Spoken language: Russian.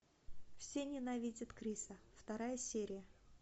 все ненавидят криса вторая серия